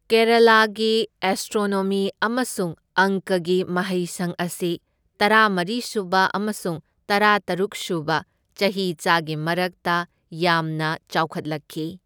ꯀꯦꯔꯥꯂꯥ ꯒꯤ ꯑꯦꯁꯇ꯭ꯔꯣꯅꯣꯃꯤ ꯑꯃꯁꯨꯡ ꯑꯪꯀꯒꯤ ꯃꯍꯩꯁꯪ ꯑꯁꯤ ꯇꯔꯥꯃꯔꯤꯁꯨꯕ ꯑꯃꯁꯨꯡ ꯇꯔꯥꯇꯔꯨꯛꯁꯨꯕ ꯆꯍꯤꯆꯥꯒꯤ ꯃꯔꯛꯇ ꯌꯥꯝꯅ ꯆꯥꯎꯈꯠꯂꯛꯈꯤ꯫